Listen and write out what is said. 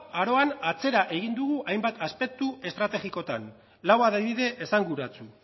aroan atzera egin dugu hainbat aspektu estrategikoetan lau adibide esanguratsu